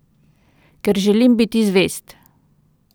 Ker želim biti zvest.